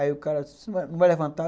Aí o cara disse, você não vai levantar?